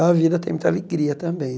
A vida tem muita alegria também.